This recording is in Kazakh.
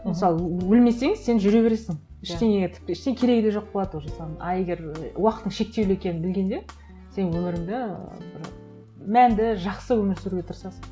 мысалы өлмесең сен жүре бересің ештеңеге тіпті ештеңе керегі де жоқ болады уже соның а егер уақытың шектеулі екенін білгенде сен өміріңді бір мәнді жақсы өмір сүруге тырысасың